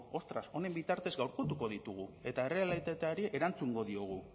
otras honen bitartez gaurkotuko ditugu eta errealitateari erantzungo diogu